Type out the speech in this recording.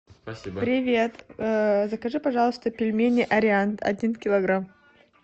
привет закажи пожалуйста пельмени ариант один килограмм